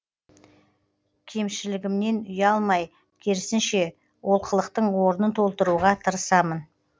кемшілігмнен ұялмай керісінше оқылықтың орнын толтыруға тырысамын